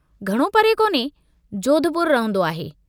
घणो परे कोन्हे जोधपुर रहन्दो आहे।